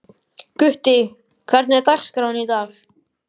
Gutti, hvernig er dagskráin í dag?